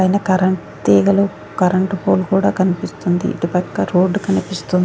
పైన కరెంట్ తీగలు current pole కూడా కనిపిస్తుంది ఇటు పక్క రోడ్ కనిపిస్తుం--